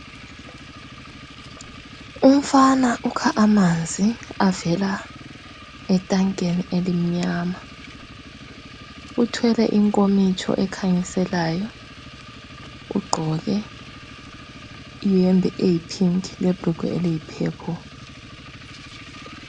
Umfana ukha amanzi avela etankeni elimnyama. Uthwele inkomitsho ekhanyiselayo, ugqoke iyembe eyi pink lebhrugwe eliyi purple.